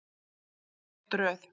Rétt röð.